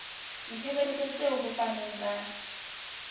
ditshebeletso tseo ho fanweng ka